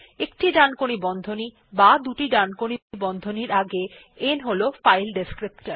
একটি ডানকোণী বন্ধনী বা দুটি ডানকোণী বন্ধনীর আগে n হল ফাইল ডেসক্রিপ্টর